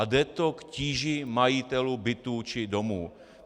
A jde to k tíži majitelů bytů či domů.